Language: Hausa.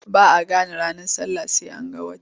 Ba a gane ranar sallah sai an ga wata.